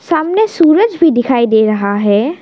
सामने सूरज भी दिखाई दे रहा है।